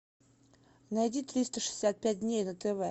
найди триста шестьдесят пять дней на тв